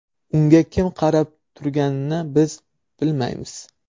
Unga kim qarab turganini biz bilmaymiz.